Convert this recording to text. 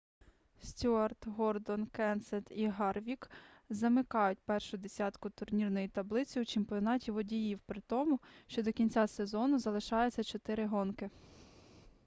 стюарт гордон кенсет і гарвік замикають першу десятку турнірної таблиці у чемпіонаті водіїв при тому що до кінця сезону залишається чотири гонки